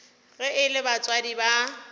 ge e le batswadi ba